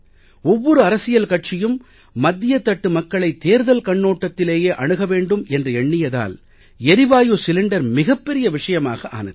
ஒவ்வொரு அரசியல் கட்சியும் மத்தியதட்டு மக்களை தேர்தல் கண்ணோட்டத்திலேயே அணுக வேண்டும் என்று எண்ணியதால் எரிவாயு சிலிண்டர் மிகப் பெரிய விஷயமாக ஆனது